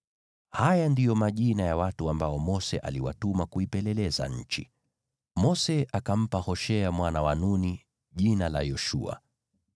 Haya ndiyo majina ya watu ambao Mose aliwatuma kuipeleleza nchi. (Mose akampa Hoshea mwana wa Nuni jina Yoshua.)